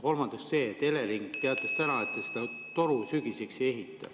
Kolmandaks see, et Elering teatas täna, et ta seda toru sügiseks ei ehita.